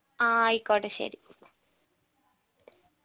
ആ ആയിക്കോട്ടെ ശരി